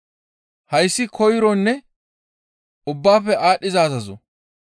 Hayssi koyronne ubbaafe aadhdhiza azazo.